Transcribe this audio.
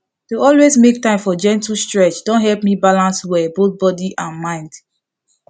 to always make time for gentle stretch don help me balance well both body and mind